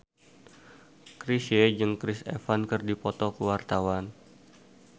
Chrisye jeung Chris Evans keur dipoto ku wartawan